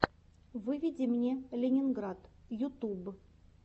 выведи мне ленинград ютуб